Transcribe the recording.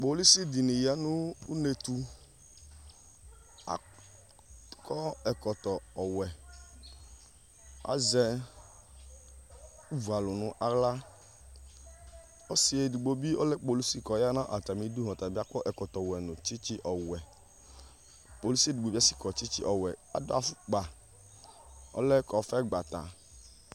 Polici di ni ya nu unetu akɔ ɛkɔtɔ owɛ azɛ ivua lu nu aɣla ɔsi edigbo bii ɔtabii ɔlɛ polici kɔya nu atamidu ka kɔ ɛkɔtɔ nu tchitchi ɔwɛ polici edigbo bii akɔ tchitchi ɔwɛ adu afukpa ɔlɛ kɔfɛ gbata